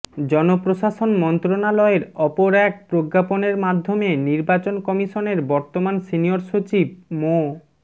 জনপ্রশাসন মন্ত্রণালয়ের অপর এক প্রজ্ঞাপনের মাধ্যমে নির্বাচন কমিশনের বর্তমান সিনিয়র সচিব মো